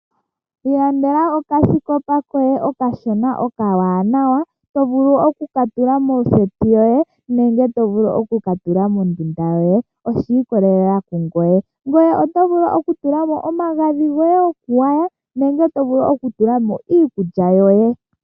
Ilandela okasikopa koye okashona okawanwa to vulu oku ka tula moseti yoye nenge to vulu oku ka tula mondunda yoye oshiikolelela kungoye. Ngoye oto vulu okutula mo omagadhi goye goku gwaya nenge to vulu oku tula mo iikulya yoye.